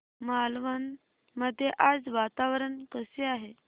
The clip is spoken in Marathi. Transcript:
मालवण मध्ये आज वातावरण कसे आहे